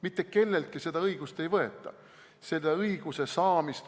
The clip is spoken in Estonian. Mitte kelleltki seda õigust ei võeta.